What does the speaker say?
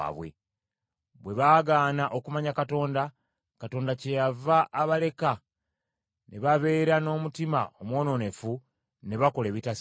Bwe baagaana okumanya Katonda, Katonda kyeyava abaleka ne babeera n’omutima omwonoonefu ne bakola ebitasaana.